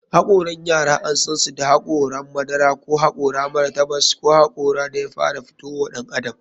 Hokaran yara an sansu da hakorin madara, da hakori mara tabas ko hakorin da ya fara fito wa ɗan adam.